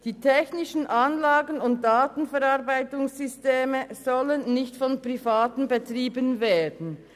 Die technischen Anlagen und Datenverarbeitungssysteme sollen nicht von Privaten betrieben werden.